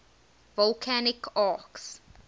volcanic arcs